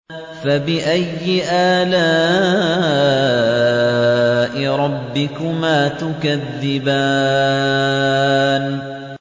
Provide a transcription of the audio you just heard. فَبِأَيِّ آلَاءِ رَبِّكُمَا تُكَذِّبَانِ